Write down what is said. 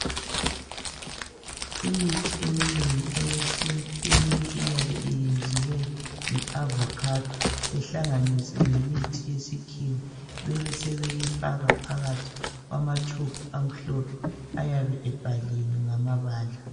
Imithi eminengi eyesintu, eminye iyabe yenziwe nge eavocado ihlanganiswe leminye imithi yesikhiwa bebesebeyifaka phakathi kwamatshubhu amhlophe ayabe ebhaliwe ngamabala.